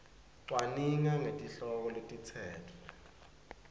cwaninga ngetihloko letitsetfwe